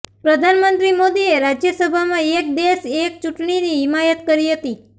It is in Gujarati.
પ્રધાનમંત્રી મોદીએ રાજ્યસભામાં એક દેશ એક ચૂંટણીની હિમાયત કરી હતી